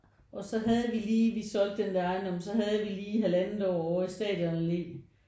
Og så havde vi lige vi solgte en ejendom så havde vi lige halvandet år over i Stadionalle